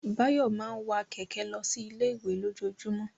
Báyọ̀ máa ń wa kẹ̀kẹ́ lọ sí ilé-ìwé lójoojúmọ́.